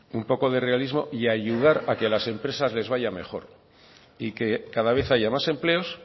un poco de realismo y ayudar a que a las empresas les vaya mejor y que cada vez haya más empleos